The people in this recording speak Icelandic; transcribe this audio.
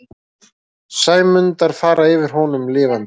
Sæmundar fara yfir honum lifandi.